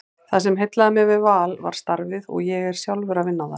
Það sem heillaði mig við Val var starfið og ég er sjálfur að vinna þar.